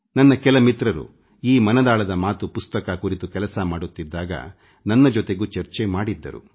ನನ್ನ ಕೆಲ ಮಿತ್ರರು ಈ ಮನದಾಳದ ಮಾತು ಪುಸ್ತಕ ಕುರಿತು ಕೆಲಸ ಮಾಡುತ್ತಿದ್ದಾಗ ನನ್ನ ಜೊತೆಗೂ ಚರ್ಚೆ ಮಾಡಿದ್ದರು